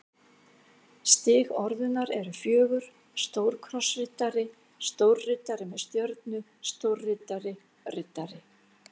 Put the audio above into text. Stig orðunnar eru fjögur: stórkrossriddari stórriddari með stjörnu stórriddari riddari